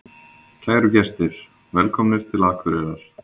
Kæru gestir! Velkomnir til Akureyrar.